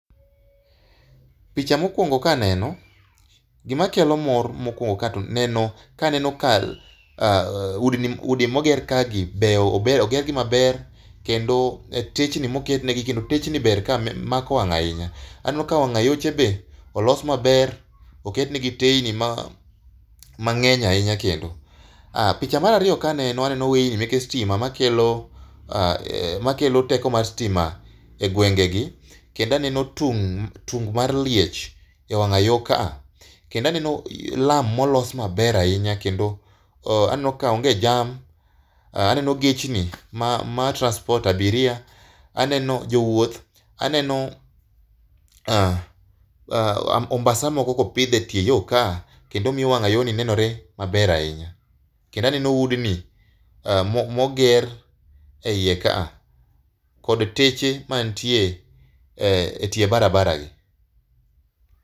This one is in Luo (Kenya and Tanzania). Picha mokuongo kaneno gima kelo mor mokuongo neno, kaneno ka udi moger kae gi beyo, ogergi maber kendo techni moketnegi gin techni ber kae, mako wang ahinya. Aneno ka wang ayoche be olos maber, oketnegi teyni mangeny ahinya kendo. Picha mar ariyo kaneno aneno weyni meke stima makelo ,makelo teko mar stima e gwenge gi kendo aneno tung, tung mar liech e wang ayoo ka kendo aneno lam molos maber ahinya kendo aneno ka onge jam. Aneno gechni ma transport abiria, aneno jowuoth, aneno ombasa moko kopidh e tie yoo ka kendo omiyo wang ayoo ni neno maber ahinya. Kendo aneno udni moger eiye kaa kod teche mantie e tie barabara gi